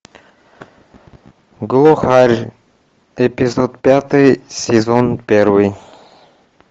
глухарь эпизод пятый сезон первый